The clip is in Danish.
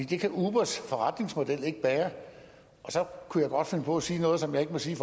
det kan ubers forretningsmodel ikke bære så kunne jeg godt finde på at sige noget som jeg ikke må sige i